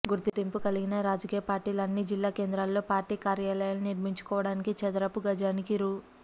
గుర్తింపు కలిగిన రాజకీయ పార్టీలు అన్నీ జిల్లా కేంద్రాల్లో పార్టీ కార్యాలయాలు నిర్మించుకోవడానికి చదరపు గజానికి రూ